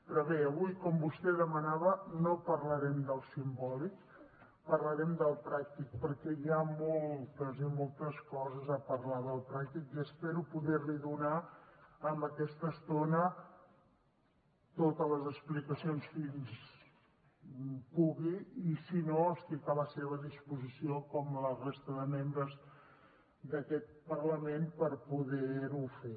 però bé avui com vostè demanava no parlarem del simbòlic parlarem del pràctic perquè hi ha moltes i moltes coses a parlar del pràctic i espero poder li donar amb aquesta estona totes les explicacions fins on pugui i si no estic a la seva disposició com la resta de membres d’aquest parlament per poder ho fer